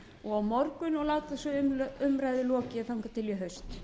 og á morgun og láta svo umræðu lokið þangað til í haust